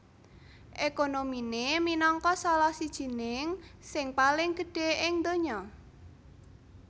Ekonominé minangka salah sijining sing paling gedhé ing donya